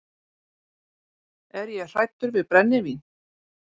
Er ég hræddur við brennivín?